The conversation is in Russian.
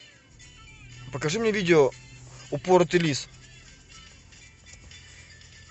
покажи мне видео упоротый лис